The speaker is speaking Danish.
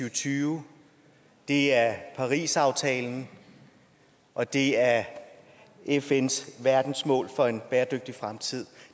og tyve det er parisaftalen og det er fns verdensmål for en bæredygtig fremtid